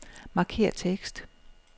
Markér tekst.